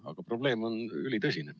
Aga probleem on ülitõsine.